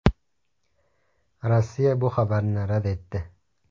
Rossiya bu xabarni rad etdi.